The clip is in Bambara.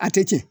A tɛ tiɲɛ